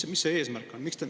Või mis see eesmärk on?